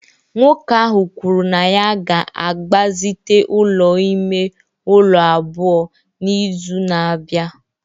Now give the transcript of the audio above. nwoke ahụ kwuru na ya ga-agbazite ụlọ ime ụlọ abụọ n'izu na-abịa